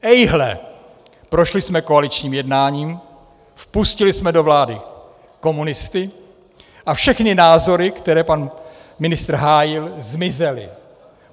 Ejhle, prošli jsme koaličním jednáním, vpustili jsme do vlády komunisty a všechny názory, které pan ministr hájil, zmizely.